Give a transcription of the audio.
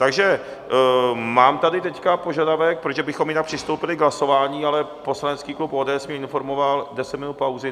Takže mám tady teď požadavek, protože bychom jinak přistoupili k hlasování, ale poslanecký klub ODS mě informoval - 10 minut pauzy.